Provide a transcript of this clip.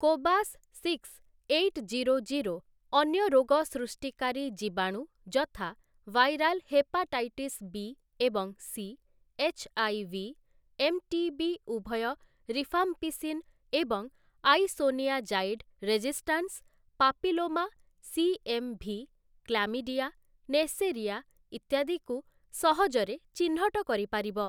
Cobas six eight zero zero' ଅନ୍ୟ ରୋଗ ସୃଷ୍ଟିକାରୀ ଜୀବାଣୁ ଯଥା ଭାଇରାଲ ହେପାଟାଇଟିସ୍ ବି ଏବଂ ସି, ଏଚ୍ଆଇଭି, ଏମ୍‌ଟିବି ଉଭୟ ରିଫାମ୍ପିସିନ୍ ଏବଂ isoniazid resistance, papilloma, CMV, chlamydia, neisseria ଇତ୍ୟାଦିକୁ ସହଜରେ ଚିହ୍ନଟ କରିପାରିବ ।